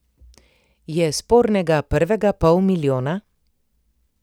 Je spornega prvega pol milijona?